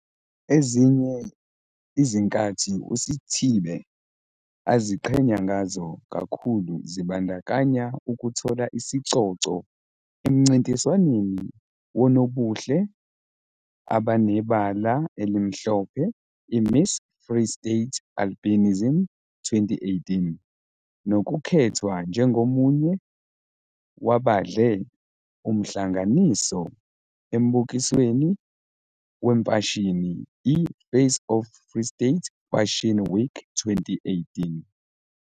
Ezinye izinkathi uSithibe aziqhenya ngazo kakhulu zibandakanya ukuthola isicoco emncintiswaneni wonobuhle abanebala elimhlophe i-Miss Free State Albinism 2018 nokukhethwa njengomunye wabadle umhlanganiso embukisweni wemfashini i-Face of Free State Fashion Week 2018.